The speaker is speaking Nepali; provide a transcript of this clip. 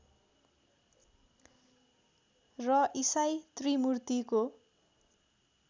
र ईसाई त्रिमूर्तिको